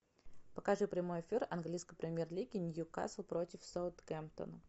покажи прямой эфир английской премьер лиги ньюкасл против саутгемптона